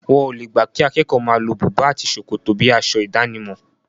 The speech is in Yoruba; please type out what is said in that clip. Wọn o le gbà kí akẹ́kọ̀ọ́ máa lo bùbá àti ṣòkòtò bíi aṣọ ìdánimọ̀.